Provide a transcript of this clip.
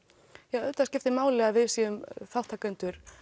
já auðvitað skiptir máli að við séum þátttakendur